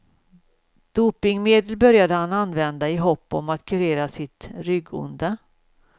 Dopingmedel började han använda i hopp om att kurera sitt ryggonda.